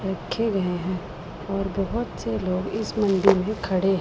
रखे गए हैं और बोहोत से लोग इस मंदिर में खड़े हैं।